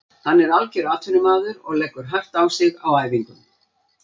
Hann er algjör atvinnumaður og leggur hart á sig á æfingum.